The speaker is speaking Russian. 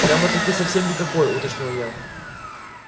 прямо-таки совсем никакой уточнил я